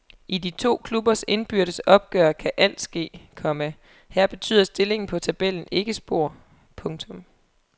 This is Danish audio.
I de to klubbers indbyrdes opgør kan alt ske, komma her betyder stillingen på tabellen ikke spor. punktum